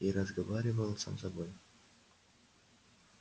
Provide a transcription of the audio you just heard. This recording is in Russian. и разговаривал сам с собой